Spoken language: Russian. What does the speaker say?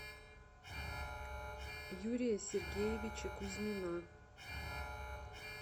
юрия сергеевича кузьмина